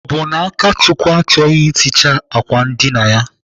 Ọ bụ na Akachukwu achọghị iticha àkwà ndina ya?